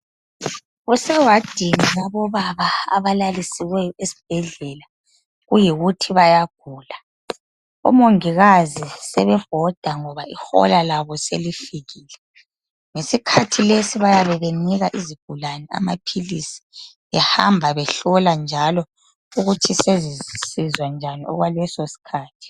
Kusewadini yabobaba abalalisiweyo esibhedlela kuyikuthi bayagula. Omongikazi sebebhoda ngoba ihola labo selifikile. Ngesikhathi lesi bayabe benika izigulane amaphilisi behamba behlola njalo ukuthi sezisizwa njani okwaleso sikhathi.